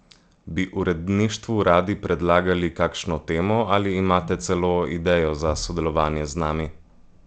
Bi uredništvu radi predlagali kakšno temo ali imate celo idejo za sodelovanje z nami?